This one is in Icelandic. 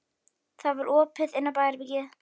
Það var opið inn á baðherbergið.